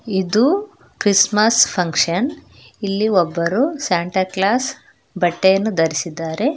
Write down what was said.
ಇದು Christmas function ಇಲ್ಲಿ ಒಬ್ಬರು ಸಾಂಟಾ ಕ್ಲಾಸ್ ಬಟ್ಟೆಯನ್ನು ಧರಿಸಿದ್ದಾರೆ.